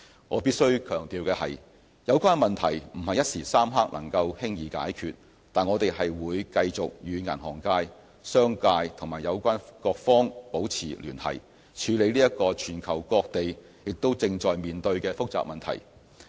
我必須強調的是，有關問題不是一時三刻能夠輕易解決，但我們會繼續與銀行界、商界和有關各方保持聯繫，處理這個全球各地也正在面對的複雜問題。